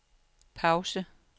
pause